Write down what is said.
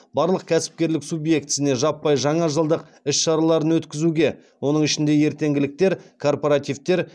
барлық кәсіпкерлік субъектісіне жаппай жаңа жылдық іс шараларын өткізуге